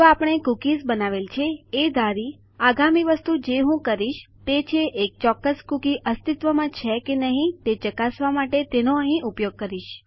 તો આપણે કૂકીઝ બનાવેલ છે એ ધારી આગામી વસ્તુ જે હું કરીશ તે છે એક ચોક્કસ કુકી અસ્તિત્વમાં છે કે નહી તે ચકાસવા માટે તેનો અહીં ઉપયોગ કરીશ